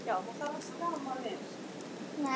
Sjálf fer hún til pabba.